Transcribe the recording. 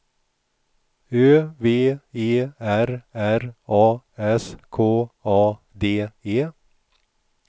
Ö V E R R A S K A D E